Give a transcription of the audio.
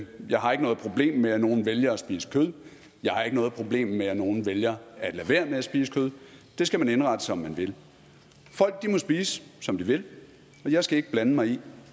jeg har ikke noget problem med at nogle vælger at spise kød jeg har ikke noget problem med at nogle vælger at lade være med at spise kød det skal man indrette som man vil folk må spise som de vil og jeg skal ikke blande mig i